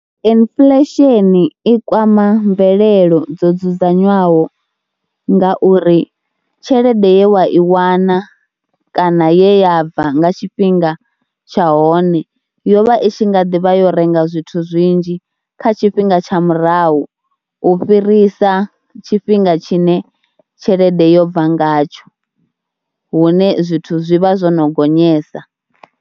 Inflection i kwama mvelelo dzo dzudzanywaho nga uri tshelede ye wa i wana kana ye ya bva nga tshifhinga tsha hone, yo vha itshi nga ḓi vha yo renga zwithu zwinzhi kha tshifhinga tsha murahu u fhirisa tshifhinga tshine tshelede yo bva ngatsho, hune zwithu zwi vha zwo no gonyesa.